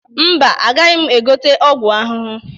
Mba, agaghị m egote ọgwụ ahụhụ.